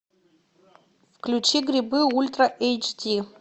включи грибы ультра эйч ди